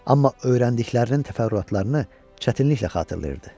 Amma öyrəndiklərinin təfərrüatlarını çətinliklə xatırlayırdı.